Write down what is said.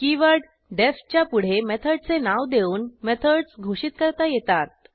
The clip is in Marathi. कीवर्ड डीईएफ च्या पुढे मेथडचे नाव देऊन मेथडस घोषित करता येतात